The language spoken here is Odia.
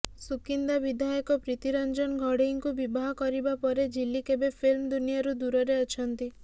ସୁକିନ୍ଦା ବିଧାୟକ ପ୍ରୀତି ରଞ୍ଜନ ଘଡ଼େଇଙ୍କୁ ବିବାହ କରିବା ପରେ ଝିଲିକ୍ ଏବେ ଫିଲ୍ମ ଦୁନିଆରୁ ଦୂରରେ ଅଛନ୍ତି